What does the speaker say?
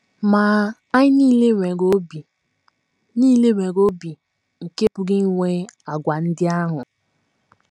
Ma, anyị nile nwere obi nile nwere obi nke pụrụ inwe àgwà ndị ahụ.